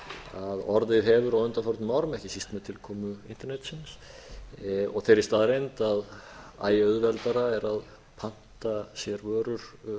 hafa á undanförnum árum ekki síst með tilkomu internetsins og þeirri staðreynd að æ auðveldara er að panta sér vörur